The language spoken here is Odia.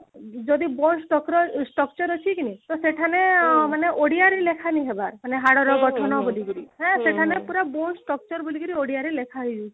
ଯଦି bone structure structure ଅଛି କି ନାଇଁ ତ ସେଖାନେ ମାନେ ଓଡିଆରେ ଲେଖା ନେଇ ହବା ବୋଲେ ହାଡର ଗଠନ କରିକିରି ହାଁ ସେଖାନେ ପୁରା bone structure ବୋଲିକିରି ଓଡିଆରେ ଲେଖା ହେଇ ଯାଇଛି